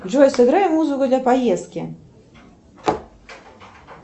джой сыграй музыку для поездки